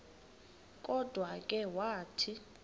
kodwa ke wathi